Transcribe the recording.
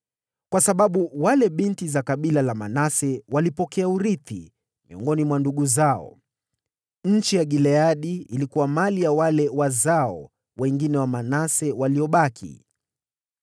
kwa sababu wale binti za kabila la Manase walipokea urithi miongoni mwa wana wa kiume. Nchi ya Gileadi ilikuwa mali ya wazao wa Manase waliobaki.